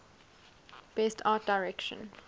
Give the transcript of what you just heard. best art direction